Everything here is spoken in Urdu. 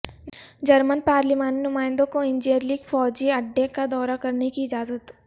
جرمن پارلیمانی نمائندوں کو انجیرلک فوجی اڈے کا دورہ کرنے کی اجازت